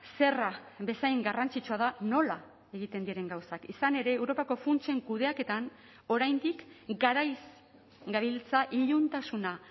zerra bezain garrantzitsua da nola egiten diren gauzak izan ere europako funtsen kudeaketan oraindik garaiz gabiltza iluntasuna